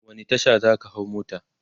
wani Tasha zaka hau mota?